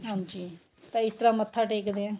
ਹਾਂਜੀ ਤਾਂ ਇਸ ਤਰ੍ਹਾਂ ਮੱਥਾ ਟੇਕਦੇ ਹਾਂ